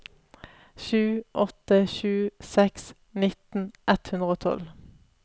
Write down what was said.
sju åtte sju seks nitten ett hundre og tolv